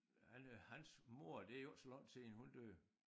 Han øh hans mor det jo ikke så lang tid siden hun døde